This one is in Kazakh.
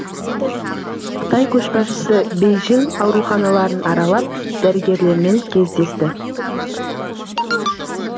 қытай көшбасшысы бейжің ауруханаларын аралап дәрігерлермен кездесті